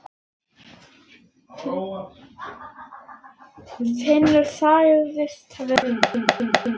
Finnur sagðist vera eins.